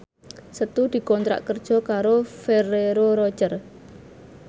Setu dikontrak kerja karo Ferrero Rocher